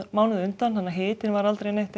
mánuði á undan þannig að hitinn var aldrei neitt